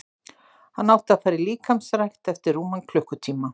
Hann átti að fara í líkamsrækt eftir rúman klukkutíma.